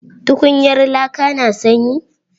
Tukunyar laka na sanyi?